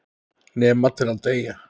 Nema til að deyja.